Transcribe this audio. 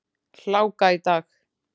Hláka í dag.